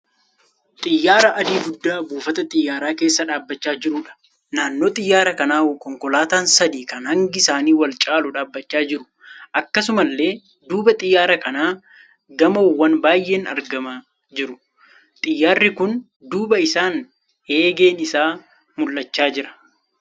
Xiyyaara adii guddaa buufata xiyyaaraa keessa dhaabbachaa jiruudha. Naannoo xiyyaara kanaa konkolaataan sadii kan hangi isaanii wal caaluu dhaabbachaa jiru. Akkasumallee duuba xiyyaara kanaa gamoowwan baay'een argamaa jiru. Xiyyaarri kun duuba isaan eegeen isaa mul'achaa jira.